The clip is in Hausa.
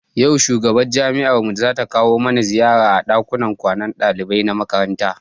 Yau shugaban jami'ar mu zata kawo mana ziyara a ɗakunan kwanan ɗalibai na makaranta.